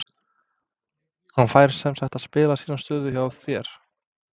Hann fær semsagt að spila sína stöðu hjá þér?